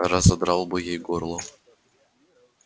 разодрал бы ей горло